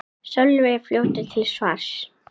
Sölvi er fljótur til svars.